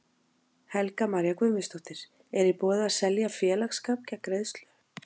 Helga María Guðmundsdóttir: Er í boði að selja félagsskap gegn greiðslu?